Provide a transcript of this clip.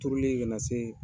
Turulen ka na se